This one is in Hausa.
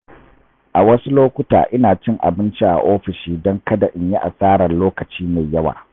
A wasu lokuta ina cin abinci a ofishi don kada in yi asarar lokaci mai yawa.